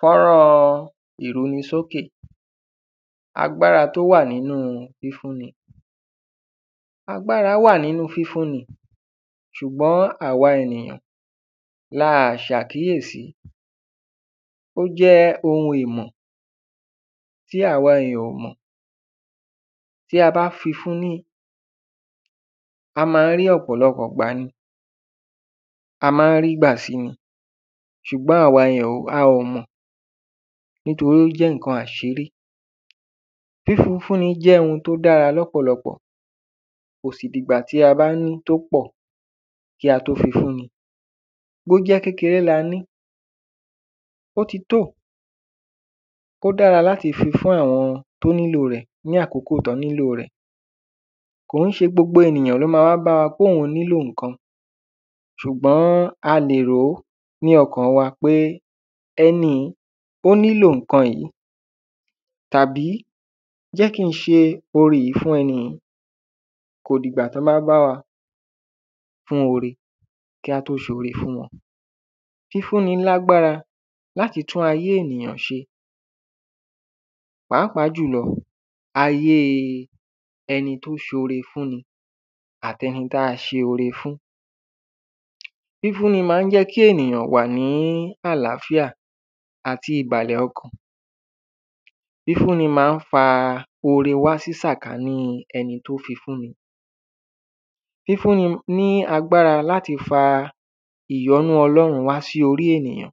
Fọ́nrán ìrunisókè agbára tó wà nínú fífúni. Agbára wà nínú fífúni ṣùgbọ́n àwa ènìyàn la ṣàkíyèsi. Ó jẹ́ ohun ìmọ̀ tí àwa èyàn ò mọ̀ tí a bá fifún ní a má ń rí ọ̀pọ̀lọpọ̀ ìgbà ni a má ń rí gbà sí ni ṣùgbọ́n àwa èyàn a ò mọ̀ nítorí ó jẹ́ nǹkan àṣírí. Fífi fúni jẹ́ ohun tó dára lọ́pọ̀lọpọ̀ kò sì dìgbà tí a bá ní tó pọ̀ kí á tó fifúni bójẹ́ kékeré la ní ó ti tó ò ó dára láti fifún àwọn tó nílò rẹ̀ ní àkókò tán nílò rẹ̀ kò í ṣe gbogbo ènìyàn ló má ń wá báwa póhun nílò nǹkan. Ṣùgbọ́n a lè ròó ní ọkàn wa pé ẹni yìíó nílò nǹkan yìí tàbí jẹ́ kí n ṣe ore yìí fún ẹni yìí kò dìgbà tán bá bá wa fún ore ká tó ṣore fún wọn. Fífúnni lágbára láti tún ajé ènìyàn ṣe pàápàá jùlọ ayé ẹni tó ṣore fún ni àtẹni tá ṣore fún. Fífún ni má ń jẹ́ kí ènìyàn wà ní àláfíà àti ìbàlẹ̀ ọkàn Fífún ni má ń fa ore wá sí sàkání ẹni tó fifún ni Fífún ni ní agbára láti fa ìyọ́nú ọlọ́run wá sórí ènìyàn.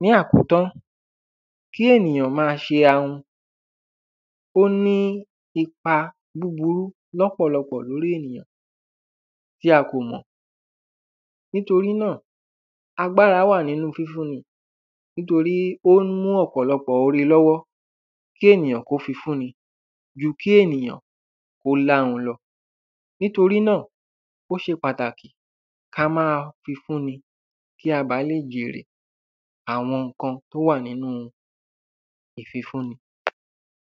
Ní àkótán kí ènìyàn má ṣe ahun ó ní ipa búburú lọ́pọ̀lọpọ̀ lórí ènìyàn tí a kò mọ̀ nítorí náà agbára wà nínú fífún ni nítorí ó ń mú ọ̀pọ̀lọpọ̀ ore lọ́wọ́ kí ènìyàn kó fifún ni ju kí ènìyàn kó láhun lọ Nítorí náà ó ṣe pàtàkì ká má fifún ni kí a bá lè jèrè àwọn nǹkan tó wà nínú ìfifún ni.